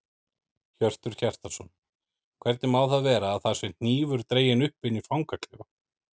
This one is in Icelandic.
Hjörtur Hjartarson: Hvernig má það vera að það sé hnífur dreginn upp inni í fangaklefa?